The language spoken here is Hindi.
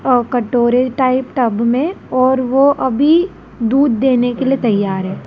अ कटोरे टाइप टब में और वो अभी दूध देने के लिए तैयार है।